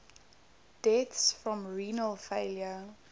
deaths from renal failure